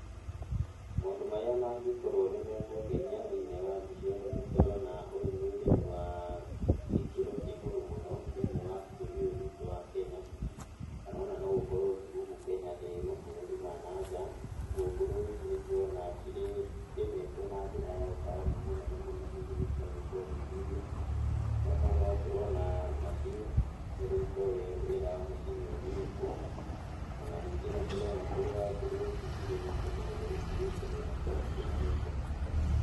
Maũndũ marĩa mangĩkorwo nĩmekũngenia thĩiniĩ wa mbica ĩno, nĩ tũrona ũyũ nĩ ũrĩmi wa gĩkĩro kĩa igũrũ mũno thĩiniĩ wa bũrũri ũyũ witũ wa Kenya, kana ona no gũkorwo ti gũkũ Kenya nĩ mabũrũri ma nanja, ũguo ngũrũwe ici nĩ ndĩrona cirĩmĩtwo na njĩra ya ũtaalamu mũnene mũno hihi nĩciagwĩka ũthuthuria. Na o hau no tũrona macini ĩrĩa itoĩ wĩra wa macini ĩyo nĩũrĩkũ. Ona ningĩ nĩtũrona kũrĩa ngũrũwe ici cirĩ nĩ kũndũ gũtheru biũ, tondũ onacio itirĩ na gĩko.